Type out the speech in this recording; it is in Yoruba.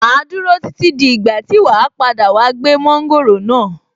Màá dúró títí dí ìgbà tí wàá padà wá gbé mọ́ńgòrò náà.